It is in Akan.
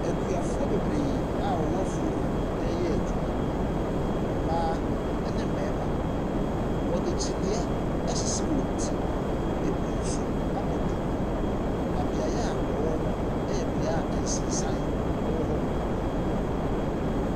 Akuafoɔ bebree a wɔwɔ afuo mu reyɛ adwuma. Mmaa ne mmarima. Wɔde kyiniiɛ asisi wɔn ti. Ebi nso abɔ duku, na beaɛ a wɔwɔ no yɛ beaeɛ a nsensan wɔ hɔ bebree.